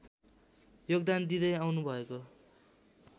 योगदान दिँदै आउनुभएको